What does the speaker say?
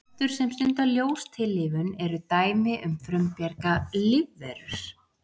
plöntur sem stunda ljóstillífun eru dæmi um frumbjarga lífverur